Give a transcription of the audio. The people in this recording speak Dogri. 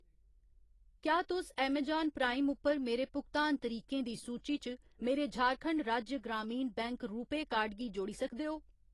क्या तुस अमेजान प्राइम उप्पर मेरे भुगतान तरीकें दी सूची च मेरे झारखंड राज्य ग्रामीण बैंक रूपेऽ कार्ड गी जोड़ी सकदे ओ ?